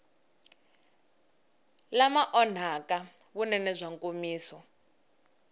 lama onhaka vunene bya nkomiso